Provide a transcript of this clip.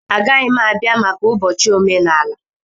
Agaghị m abịa maka ụbọchị omenala.